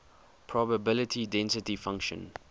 probability density function